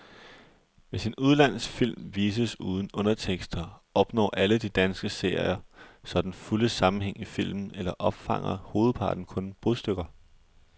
Hvis en udenlandsk film vises uden undertekster, opnår alle de danske seere så den fulde sammenhæng i filmen eller opfanger hovedparten kun brudstykker?